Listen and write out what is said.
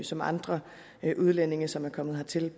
som andre udlændinge som er kommet hertil